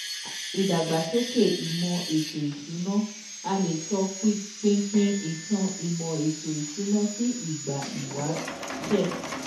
Ìdàgbàsókè ìmò ètò ìsúna,a lè tó pínpín ìtàn imo ètò ìsúná sì ìgbà ìwáṣẹ̀